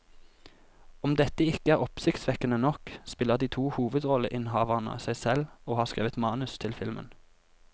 Om dette ikke er oppsiktsvekkende nok, spiller de to hovedrolleinnehaverne seg selv og har skrevet manus til filmen.